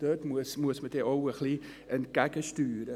Da muss man auch ein wenig gegensteuern.